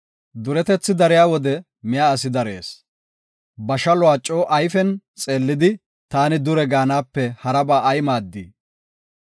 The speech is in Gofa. Duretethi dariya wode miya asi darees. Ba shaluwa coo ayfen xeellidi, “Taani dure” gaanape haraba ay maaddii?